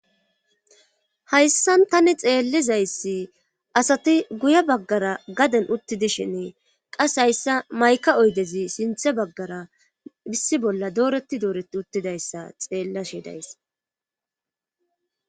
Hayssan tani xeellizayss asati guye baggara gaden uttidishine qase hayssa mayka oydezi sinthe baggara issi bolla dooretti dooretti uttidayssa xeellashi days.